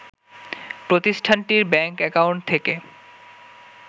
প্রতিষ্ঠানটির bank account থেকে